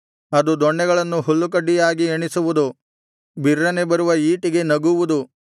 ಅದು ದೊಣ್ಣೆಗಳನ್ನು ಹುಲ್ಲುಕಡ್ಡಿಯಾಗಿ ಎಣಿಸುವುದು ಬಿರ್ರನೆ ಬರುವ ಈಟಿಗೆ ನಗುವುದು